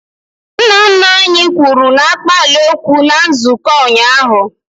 Nna nna anyị kwuru n'akpaala okwu na nzukọ ụnyaahụ